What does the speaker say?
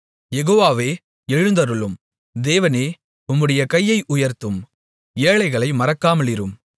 யெகோவாவே எழுந்தருளும் தேவனே உம்முடைய கையை உயர்த்தும் ஏழைகளை மறக்காமலிரும்